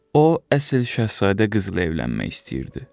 O əsl Şahzadə qızla evlənmək istəyirdi.